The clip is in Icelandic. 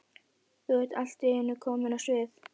Þú ert allt í einu komin á svið?